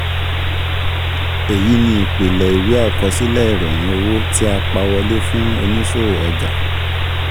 Èyí ni ìpìlẹ̀ ìwé àkọsílẹ̀ ìròyìn owó tí a pa wọlé fún oníṣòwò ọjà.